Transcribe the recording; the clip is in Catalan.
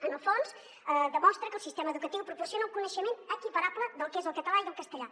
en el fons demostra que el sistema educatiu proporciona el coneixement equiparable del que és el català i el castellà